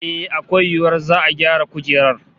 Eh, akwai yiwuwar za'a gyara kujerar